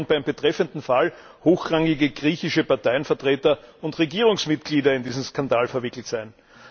Immerhin sollen beim betreffenden Fall hochrangige griechische Parteienvertreter und Regierungsmitglieder in diesen Skandal verwickelt sein.